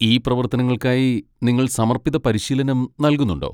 ഈ പ്രവർത്തനങ്ങൾക്കായി നിങ്ങൾ സമർപ്പിത പരിശീലനം നൽകുന്നുണ്ടോ?